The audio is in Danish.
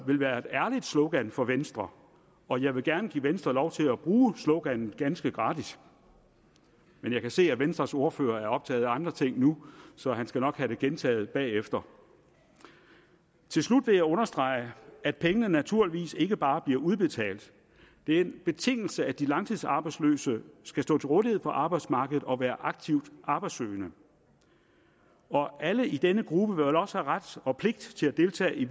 vil være et ærligt slogan for venstre og jeg vil gerne give venstre lov til at bruge sloganet ganske gratis men jeg kan se at venstres ordfører er optaget af andre ting nu så han skal nok have det gentaget bagefter til slut vil jeg understrege at pengene naturligvis ikke bare bliver udbetalt det er en betingelse at de langtidsarbejdsløse skal stå til rådighed for arbejdsmarkedet og være aktivt arbejdssøgende og alle i denne gruppe vil også have ret og pligt til at deltage i